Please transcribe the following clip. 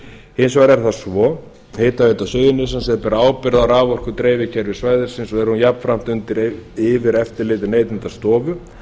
hins vegar er það svo að hitaveita suðurnesja ber ábyrgð á raforkudreifikerfi svæðisins og er hún jafnframt undir yfireftirliti neytendastofu